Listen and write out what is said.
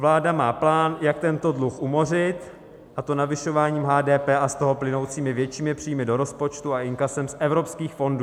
Vláda má plán, jak tento dluh umořit, a to navyšováním HDP a z toho plynoucími většími příjmy do rozpočtu a inkasem z evropských fondů.